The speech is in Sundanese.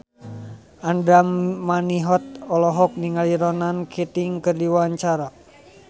Andra Manihot olohok ningali Ronan Keating keur diwawancara